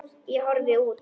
Ég horfi út.